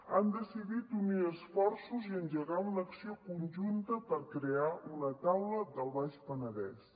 han decidit unir esforços i engegar una acció conjunta per crear una taula del baix penedès